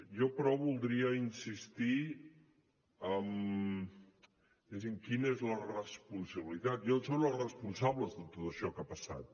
jo però voldria insistir en diguéssim quina és la responsabilitat i on són els responsables de tot això que ha passat